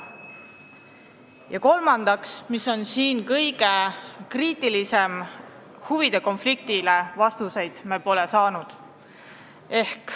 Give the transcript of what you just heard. Ja kolmandaks, mis on kõige kriitilisem moment: huvide konflikti kohta me vastuseid pole saanud.